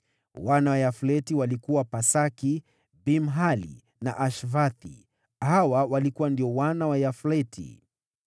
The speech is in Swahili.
Wana wa Yafleti walikuwa: Pasaki, Bimhali na Ashvathi. Hawa walikuwa wana wa Yafleti.